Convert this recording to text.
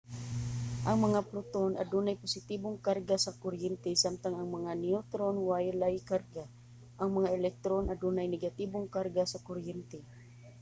ang mga proton adunay positibong karga sa kuryente samtang ang mga neutron walay karga. ang mga electron adunay negatibong karga sa kuryente